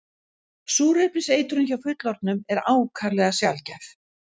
Súrefniseitrun hjá fullorðnum er ákaflega sjaldgæf.